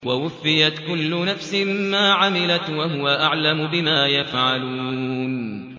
وَوُفِّيَتْ كُلُّ نَفْسٍ مَّا عَمِلَتْ وَهُوَ أَعْلَمُ بِمَا يَفْعَلُونَ